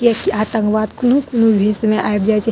किया की आतंकवाद कुनु-कुनु भेष में आएब जाय छै।